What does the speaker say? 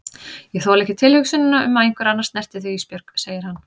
Ég þoli ekki tilhugsunina um að einhver annar snerti þig Ísbjörg, segir hann.